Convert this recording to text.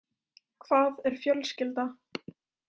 Hvað er fjölskylda?